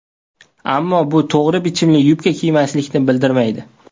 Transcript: Ammo bu to‘g‘ri bichimli yubka kiymaslikni bildirmaydi.